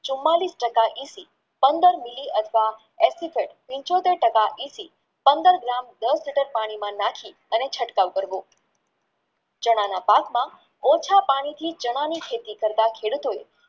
ચુમાંલીશ ટકા પંદર mili અથવા acetone એંશી પંદર gram દસ liter પાણીમાં નાખી ચટકાવ કરવો ચણાના પાકમાં ઓછા પાણીથી ચણાની ખેતી કાર્ટ ખેડૂતો